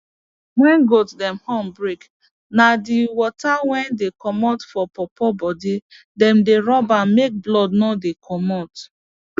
wen goat dem horn break na d water wey dey commot for pawpaw bodi dem dey rub am make blood no dey commot